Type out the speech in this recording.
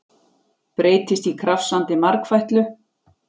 Breytist í krafsandi margfætlu.